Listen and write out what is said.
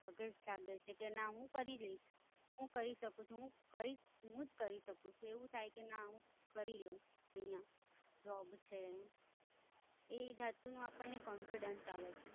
ધગસ જાગે છે કે ના હું કરી લઈશ, હું કરી શકું છું. હું કરીશ, હું જ કરી શકું છું, એવું થઇ કે ના હું કરી લઈશ હમ્મ એ વસ્તુ માં આપણને confidence આવે છે.